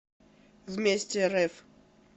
вместе рф